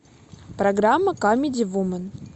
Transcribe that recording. программа камеди вумен